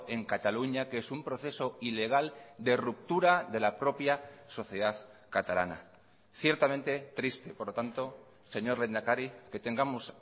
en cataluña que es un proceso ilegal de ruptura de la propia sociedad catalana ciertamente triste por lo tanto señor lehendakari que tengamos